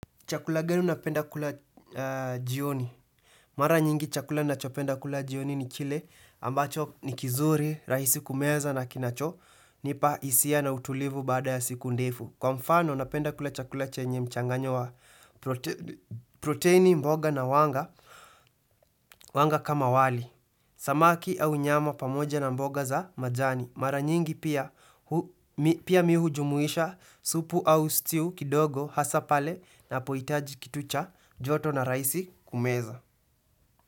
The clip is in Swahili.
Chakula gani unapenda kula jioni. Mara nyingi chakula na chopenda kula jioni ni chile ambacho ni kizuri, rahisi kumeza na kinacho, nipa hisia na utulivu bada ya siku ndefu. Kwa mfano, napenda kula chakula chenye mchanganyo wa proteini mboga na wanga, wanga kama wali. Samaki au nyama pamoja na mboga za majani Mara nyingi pia hu mi pia mi hujumuisha supu au stiu kidogo hasa pale na pohitaji kitu cha joto na rahisi kumeza.